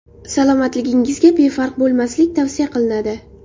salomatligingizga befarq bo‘lmaslik tavsiya qilinadi.